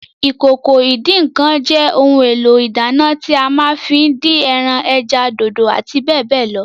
Ìkòkò ìdín-ǹǹkan jẹ́ ohun èlò ìdáná tí a ma ń fí dín ẹran, ẹja, dòdò àti bẹ́ẹ̀bẹ́ẹ̀ lọ